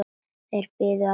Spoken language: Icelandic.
Þeir biðu allir.